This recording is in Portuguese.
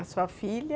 A sua filha?